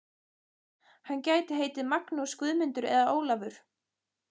Hann gæti heitið Magnús, Guðmundur eða Ólafur.